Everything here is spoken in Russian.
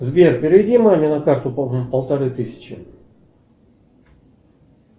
сбер переведи маме на карту полторы тысячи